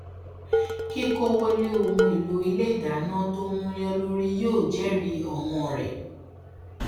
kíkówòlé ohun èlò ilé ìdáná tó múyàn lórí yóò jẹrìí owón rẹ